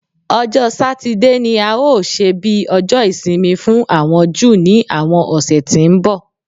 Ọjọ́ Satide ni a óò ṣe bí Ọjọ́ Ìsinmi fún àwọn Júù ní àwọn ọ̀sẹ̀ tí ń bọ̀